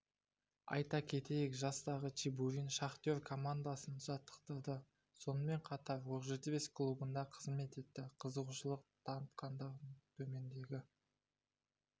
айта кетейік жастағы чебурин шахтер командасын жаттықтырды сонымен қатар оқжетпес клубында қызмет етті қызығушылық танытқандар төмендегі